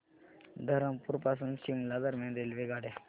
धरमपुर पासून शिमला दरम्यान रेल्वेगाड्या